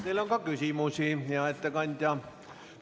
Teile on ka küsimusi, hea ettekandja.